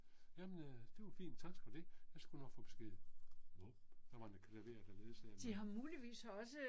Jamen øh det var fint, tak for det, jeg skulle du nok for besked. Nåh. Der var en klaver der ledsagede mig.